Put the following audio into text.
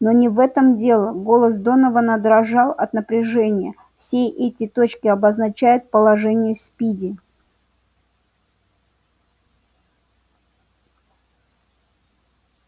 но не в этом дело голос донована дрожал от напряжения вот эти точки обозначают положение спиди